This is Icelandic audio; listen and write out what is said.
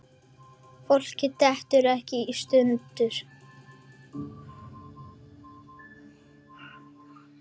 Fólk dettur ekkert í sundur.